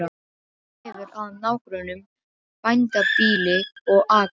Hefur að nágrönnum bændabýli og akra.